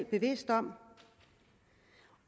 bevidste om